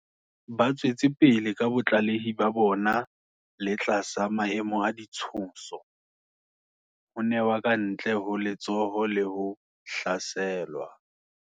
Ba tswetse pele ka botlalehi ba bona le tlasa maemo a ditshoso, ho newa kantle ho letsoho le ho hlaselwa.